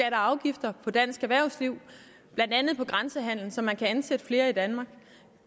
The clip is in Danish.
afgifter på dansk erhvervsliv blandt andet på grænsehandel så man kan ansætte flere i danmark